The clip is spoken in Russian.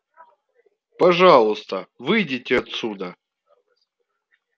пожалуйста выйдите отсюда